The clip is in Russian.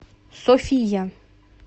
софия